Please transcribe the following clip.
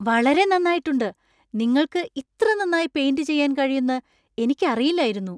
വളരെ നന്നായിട്ടുണ്ട് ! നിങ്ങൾക്ക് ഇത്ര നന്നായി പെയിന്‍റ് ചെയ്യാൻ കഴിയുന്ന് എനിക്കറിയില്ലായിരുന്നു!